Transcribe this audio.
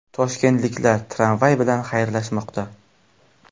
Toshkentliklar tramvay bilan xayrlashmoqda.